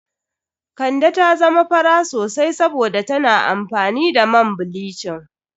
Kande ta zama fara sosai saboda tana amfani da man bilicin.